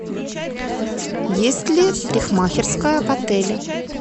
есть ли парикмахерская в отеле